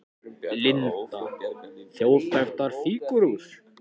Linda: Þjóðþekktar fígúrur?